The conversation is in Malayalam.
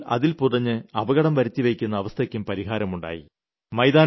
കുട്ടികൾ അതിൽ പുതഞ്ഞ് അപകടം വരുത്തിവെയ്ക്കുന്ന അവസ്ഥയ്ക്കും പരിഹാരം ഉണ്ടായി